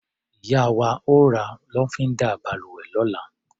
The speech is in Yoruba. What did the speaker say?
Ìyá wa ó ra lọ́fíndà balùwẹ̀ lọ́la.